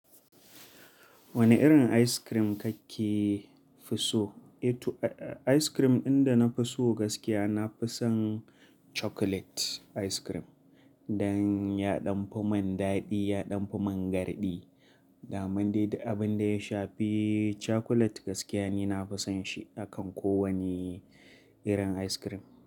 Wane irin ice cream kake fi so? Ice cream ɗin da na fi so gaskiya, na fi son chocolate ice cream dan ya ɗanfi mun daɗi, ya ɗanfa mun garɗi. Amman dai du abin da ya shfi chocolate gaskiya ni nafi son shi hakan ko wane. Irin ice cream.